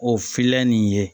O filan nin ye